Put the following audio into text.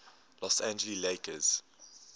los angeles lakers